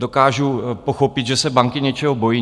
Dokážu pochopit, že se banky něčeho bojí.